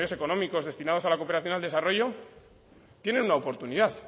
económicos destinados a la cooperación y al desarrollo tienen una oportunidad